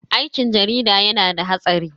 Aikin jarida yana da hatsari.